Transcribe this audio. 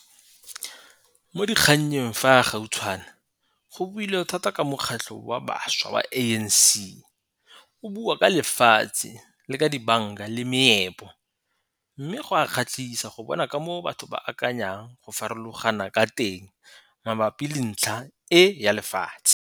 Mo dikgannye fa gautshwane go builwe thata ka Mokgatlho wa Bašwa wa ANC o bua ka lefatshe, le ka dibanka le meepo, mme go a kgatlhisa go bona ka moo batho ba akanyang ka go farologana ka teng mabapi le ntlha e ya lefatshe.